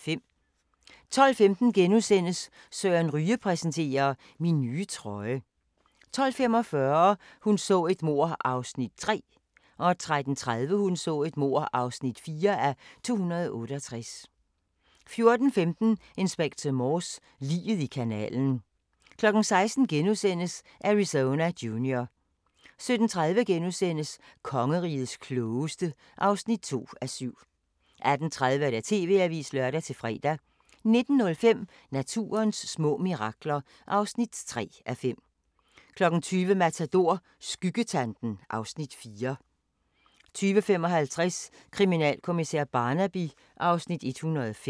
12:15: Søren Ryge præsenterer: Min nye trøje * 12:45: Hun så et mord (3:268) 13:30: Hun så et mord (4:268) 14:15: Inspector Morse: Liget i kanalen 16:00: Arizona Junior * 17:30: Kongerigets klogeste (2:7)* 18:30: TV-avisen (lør-fre) 19:05: Naturens små mirakler (3:5) 20:00: Matador – Skyggetanten (Afs. 4) 20:55: Kriminalkommissær Barnaby (Afs. 105)